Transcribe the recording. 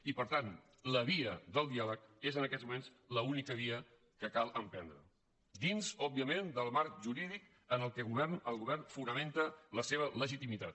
i per tant la via del diàleg és en aquests moments l’única via que cal emprendre dins òbviament del marc ju·rídic en què el govern fonamenta la seva legitimitat